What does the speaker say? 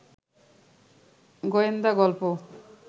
গোয়েন্দা গল্প